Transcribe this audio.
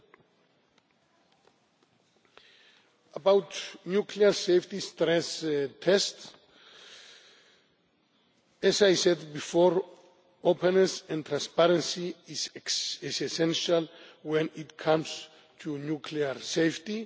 On nuclear safety stress tests as I said before, openness and transparency is essential when it comes to nuclear safety.